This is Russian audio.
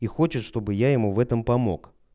и хочет чтобы я ему в этом помог